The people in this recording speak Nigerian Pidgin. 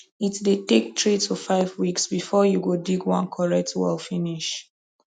it dey take three to five weeks before u go dig one correct well finish